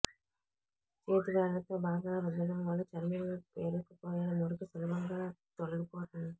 చేతి వేళ్ళతో బాగా రుద్దడం వల్ల చర్మంలో పేరుకొపోయిన మురికి సులభంగా తొలగిపోతుంది